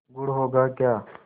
गुड़ होगा क्या